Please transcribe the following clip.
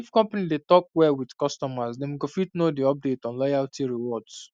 if company dey talk well with customers dem go fit know the update on loyalty rewards